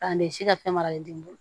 K'a ne si ka fɛn maralen tɛ n bolo